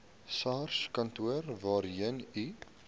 sarskantoor waarheen u